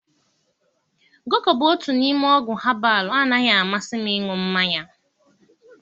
Goko bụ otu n'ime ọgwụ habalụ anaghị amasị m ịṅụ mmanya.